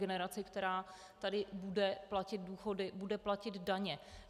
Generaci, která tady bude platit důchody, bude platit daně.